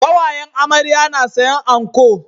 Kawayen amarya na sayan anco